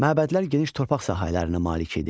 Məbədlər geniş torpaq sahələrinə malik idi.